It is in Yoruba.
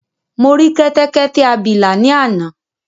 Mo rí kẹ́tẹ́kẹ́tẹ́ abìlà ni àná